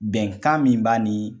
Bɛnkan min b'a nin